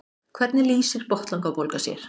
hvernig lýsir botnlangabólga sér